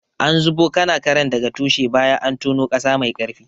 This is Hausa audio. An zubo kanakaren daga tushe bayan an tono ƙasa mai ƙarfi.